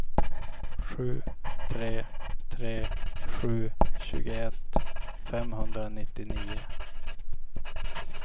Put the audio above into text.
sju tre tre sju tjugoett femhundranittionio